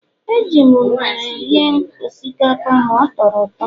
Eji m unere rie osikapa ma ọ tọrọ ụtọ